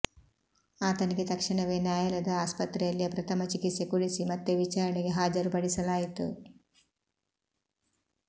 ಆತನಿಗೆ ತಕ್ಷಣವೇ ನ್ಯಾಯಾಲಯದ ಆಸ್ಪತ್ರೆಯಲ್ಲೇ ಪ್ರಥಮ ಚಿಕಿತ್ಸೆ ಕೊಡಿಸಿ ಮತ್ತೆ ವಿಚಾರಣೆಗೆ ಹಾಜರುಪಡಿಸಲಾಯಿತು